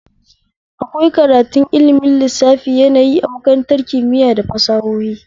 Akwai karatun ilmin lissafi yanayi a makarantar kimitaya da fasahohi